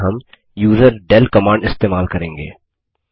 इसके लिए हम यूजरडेल कमांड इस्तेमाल करेंगे